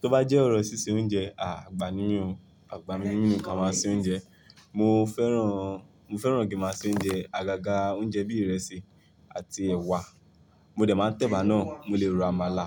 Tó bá jẹ́ ọ̀rọ̀ ṣíṣe oúnjẹ, à, àgba ni mí ò, àgba ni mí nìkan máa ṣe oúnjẹ. Mo fẹ́ràn, mo fẹ́ràn kí máa ṣe oúnjẹ, àgàgà oúnjẹ bí ìrẹsì àti ẹ̀wà. Mo dẹ̀ máa ń tẹ̀bà náà, mo lè ro àmàlà,